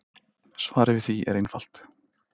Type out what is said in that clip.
Svarið við því er einfalt.